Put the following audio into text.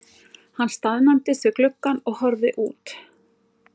Hann staðnæmdist við gluggann og horfði út.